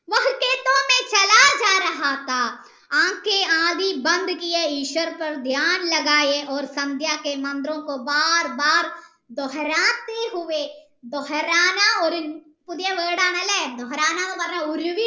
പുതിയ ഒരു word ആണല്ലേ എന്ന് പറഞ്ഞാൽ ഒരുവി